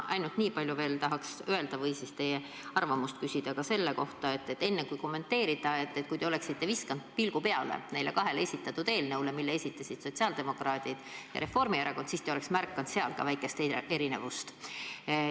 Ainult ma tahaks teie arvamust küsida ka selle kohta, et kui te oleksite enne kommenteerimist visanud pilgu peale neile kahele esitatud eelnõule, mille esitasid sotsiaaldemokraadid ja Reformierakond, siis te oleks märganud ka seal väikest erinevust.